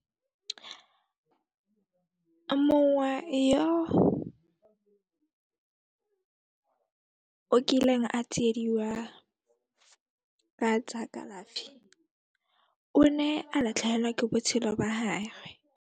Mongwe yo o kileng a tsiediwa ka tsa kalafi, o ne a latlhehelwa ke botshelo ba .